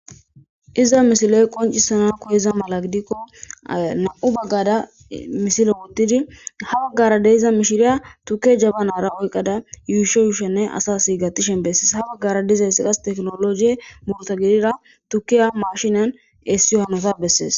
Iza misiloy qoncisana koheza mala gidikko nam7u baggada misile wuddidi ha baggara deiza mishiriya tuke jabanara oyqqada yuusho yuushenne asas hiigatishen bessees ha baggara dizeyssi qas teknologie morta gidira tukiya mashinan eessiyo hanota bessees.